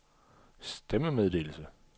stemmemeddelelse